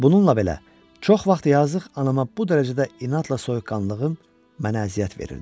Bununla belə, çox vaxt yazıq anama bu dərəcədə inadla soyuqqanlılığım mənə əziyyət verirdi.